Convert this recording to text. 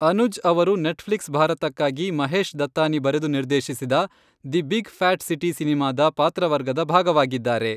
ಅನುಜ್ ಅವರು ನೆಟ್ಫ್ಲಿಕ್ಸ್ ಭಾರತಕ್ಕಾಗಿ ಮಹೇಶ್ ದತ್ತಾನಿ ಬರೆದು ನಿರ್ದೇಶಿಸಿದ ದಿ ಬಿಗ್ ಫ್ಯಾಟ್ ಸಿಟಿ ಸಿನೆಮಾದ ಪಾತ್ರವರ್ಗದ ಭಾಗವಾಗಿದ್ದಾರೆ.